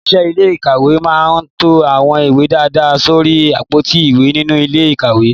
Òṣìṣẹ́ ilé ìkàwé máa ń to àwọn ìwé dáadáa sórí àpótí ìwé nínú ilé ìkàwé